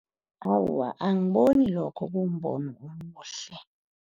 Awa, angiboni lokho kumbono omuhle.